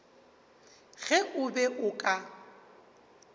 ge o be o ka